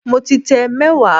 Mo ti tẹ mẹ́wàá